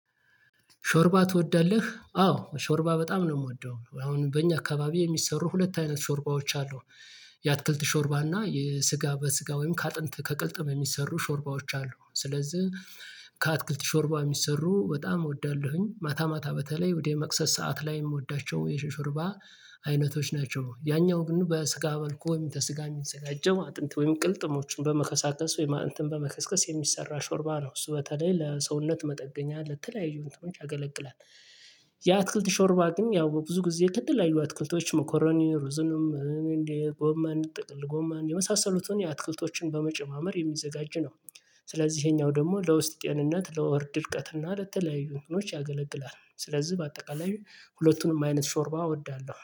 ሾርባ ትወዳለህ አዎ ሾርባ በጣም ነው የምወደው አሁን በእኛ አካባቢ የሚሰሩ ሁለት አይነት ሾርባዎች አሉ። የአትክልት ሾርባ እና የስጋ በስጋ ወይም ከአጥንት ከቅልጥም የሚሰሩ ሾርባዎች አሉ ስለዚህ። ከአትክልት ሾርባ የሚሰሩ በጣም እወዳለሁኝ ማታ ማታ በተለይ ወደ መክሰስ ሰዓት ላይ የምወዳቸው የሾርባ አይነቶች ናቸው። ያኛው ግን በስጋ መልኩ ወይም ተስጋ የሚዘጋጀው አጥንት ወይም ቅልጥሞችን በመከሳከስ ወይም አጥንትን በመከስከስ የሚሰራ ሾርባ ነው። እሱ በተለይ ለሰውነት መጠገኛ ለተለያዩ እንትኖች ያገለግላል። ያ አትክልት ሾርባ ግን ያው ብዙ ጊዜ ከተለያዩ አትክልቶች መኮረኒ ሩዝንም እንዴ ጎመን ጠቅል ጎመን የመሳሰሉትን የአትክልቶችን በመጨማመር የሚዘጋጅ ነው። ስለዚህ ይሄኛው ደግሞ ለውስጥ ጤንነት ለሆድ ድርቀት እና ለተለያዩ እንትኖች ያገለግላል። ስለዚህ በአጠቃላይ ሁለቱንም አይነት ሾርባ እወዳለሁ